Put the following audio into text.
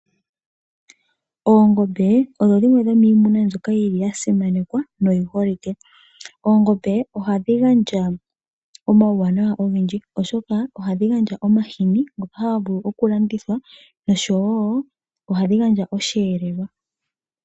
Oongombe odho dhimwe dhomiinamwenyo mbyoka yasimanekwa no yi holike, oongombe ohadhi gandja omauwanawa ogendji, oshoka ohadhi gandja omahini ngoka haga vulu okulandithwa nosho woo omweelelo.